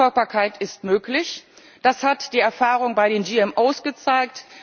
Rückverfolgbarkeit ist möglich, das hat die Erfahrung bei den GVO gezeigt.